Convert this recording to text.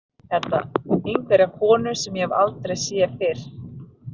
Einhverja konu sem ég hef aldrei séð fyrr.